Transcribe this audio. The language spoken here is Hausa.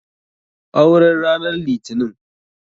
Aure n ranan litinin?